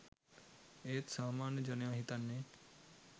ඒත් සාමාන්‍ය ජනයා හිතන්නේ